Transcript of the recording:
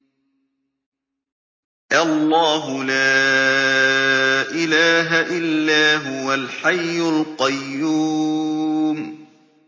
اللَّهُ لَا إِلَٰهَ إِلَّا هُوَ الْحَيُّ الْقَيُّومُ